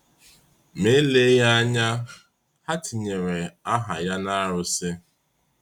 Ma eleghị anya, ha tinyeere aha ya n’arụsị.